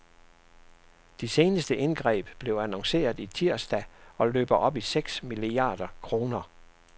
De seneste indgreb blev annonceret tirsdag og løber op i seks milliarder kroner.